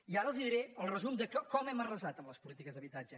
i ara els diré el resum de com hem arrasat les polítiques d’habitatge